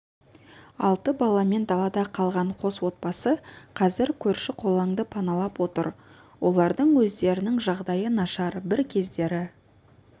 алты баламен далада қалған қос отбасы қазір көрші-қолаңды паналап отыр олардың өздерінің жағдайы нашар бір кездері